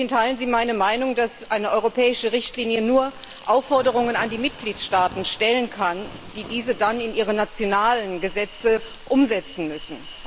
Teilen Sie meine Meinung, dass eine europäische Richtlinie nur Aufforderungen an die Mitgliedstaaten richten kann, die diese dann in ihre nationalen Gesetze umsetzen müssen?